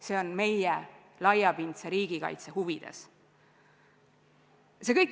See on meie laiapindse riigikaitse huvides.